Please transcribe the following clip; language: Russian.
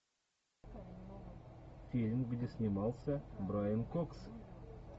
фильм где снимался брайан кокс